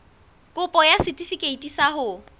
kopo ya setefikeiti sa ho